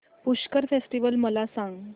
Pushkar festival मला सांग